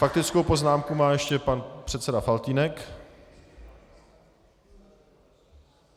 Faktickou poznámku má ještě pan předseda Faltýnek.